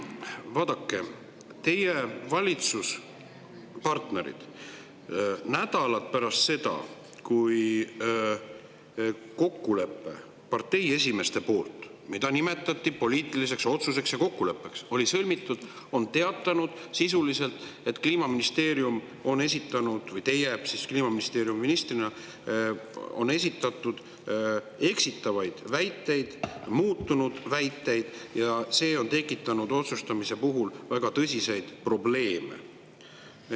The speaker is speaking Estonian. Vaadake, teie valitsuspartnerid nädalad pärast seda, kui kokkulepe parteide esimeeste poolt, mida nimetati poliitiliseks otsuseks ja kokkuleppeks, oli sõlmitud, on teatanud sisuliselt, et Kliimaministeerium on esitanud või teie ministrina olete esitanud eksitavaid väiteid, muutunud väiteid, ja see on tekitanud otsustamise puhul väga tõsiseid probleeme.